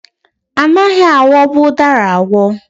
Anaghị aghọbụ ụdara aghọ.